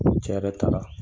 cɛ yɛrɛ taa la.